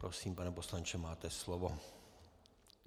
Prosím, pane poslanče, máte slovo.